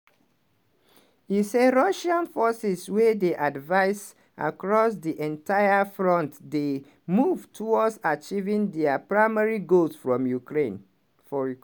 e say russian forces wey dey advice across di entire front dey move towards achieving dia primary goals from ukraine for ukr.